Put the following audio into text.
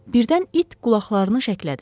Birdən it qulaqlarını şəklədi.